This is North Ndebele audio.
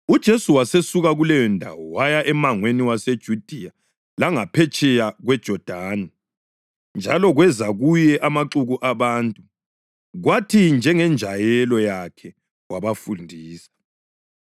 UJesu wasesuka kuleyondawo waya emangweni waseJudiya langaphetsheya kweJodani. Njalo kweza kuye amaxuku abantu, kwathi njengenjayelo yakhe wabafundisa.